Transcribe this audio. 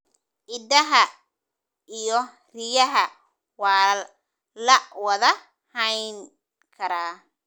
Idaha iyo riyaha waa la wada hayn karaa.